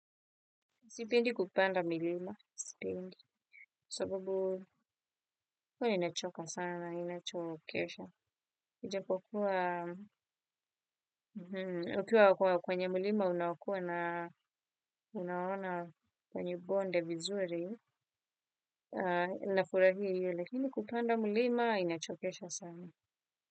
Sipendi kupanda milima, sipendi, sababu huwa inachoka sana, inachokesha. Ijapokuwa, ukiwa kwenye milima unakua na unaona kwenye bonde vizuri, ninafurahi hiyo, lakini kupanda milima inachokesha sana.